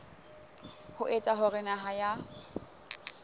ho etsa hore naha ya